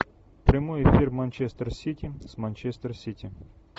прямой эфир манчестер сити с манчестер сити